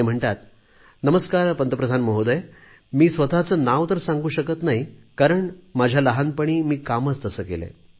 ते म्हणतात नमस्कार पंतप्रधान महोदय मी स्वतचे नाव तर सांगू शकत नाही कारण माझ्या लहानपणी मी कामच तसे केलेय